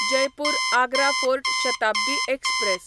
Jaipur Agra fort Shatabdi express